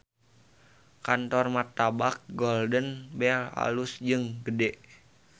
Kantor Martabak Golden Bell alus jeung gede